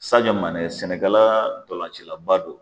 Sajɛ Manɛ Sɛnɛkala dɔlancilaba do.